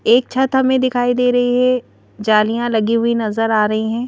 एक छत हमें दिखाई दे रही है जालियां लगी हुई नजर आ रही हैं।